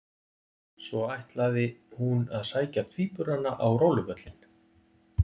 Svo ætlaði, hún að sækja tvíburana á róluvöllinn.